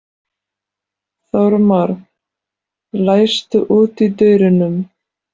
Þormar, læstu útidyrunum.